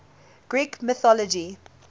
greek mythology